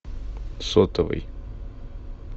сотовый